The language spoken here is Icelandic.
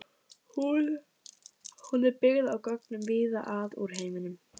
Hún er byggð á gögnum víða að úr heiminum.